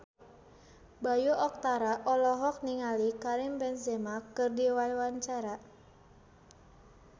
Bayu Octara olohok ningali Karim Benzema keur diwawancara